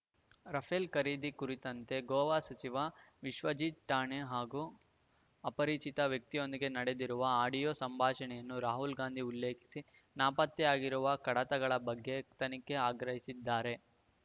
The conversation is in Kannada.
ರಫೆಲ್ ಖರೀದಿ ಕುರಿತಂತೆ ಗೋವಾ ಸಚಿವ ವಿಶ್ವಜಿತ್ ರಾಣೆ ಹಾಗೂ ಅಪರಿಚಿತ ವ್ಯಕ್ತಿಯೊಂದಿಗೆ ನಡೆದಿರುವ ಆಡಿಯೋ ಸಂಭಾಷಣೆಯನ್ನು ರಾಹುಲ್‌ಗಾಂಧಿ ಉಲ್ಲೇಖಿಸಿ ನಾಪತ್ತೆಯಾಗಿರುವ ಕಡತಗಳ ಬಗ್ಗೆ ತನಿಖೆಗೆ ಆಗ್ರಹಿಸಿದ್ದಾರೆ